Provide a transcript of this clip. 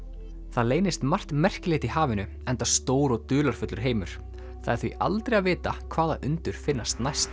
það leynist margt merkilegt í hafinu enda stór og dularfullur heimur það er því aldrei að vita hvaða undur finnast næst